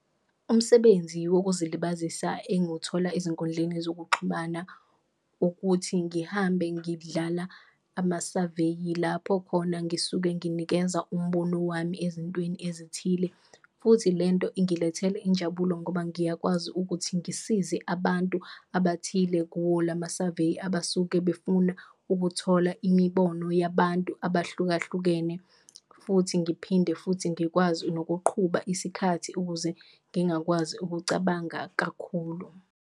Umsebenzi wokuzilibazisa engiwuthola ezinkundleni zokuxhumana ukuthi ngihambe ngidlala amasaveyi, lapho khona ngisuke nginikeza umbono wami ezintweni ezithile futhi lento ingilethele injabulo ngoba ngiyakwazi ukuthi ngisize abantu abathile kuwo lamasaveyi. Abasuke befuna ukuthola imibono yabantu abahlukahlukene futhi ngiphinde futhi, ngikwazi nokuqhuba isikhathi ukuze ngingakwazi ukucabanga kakhulu.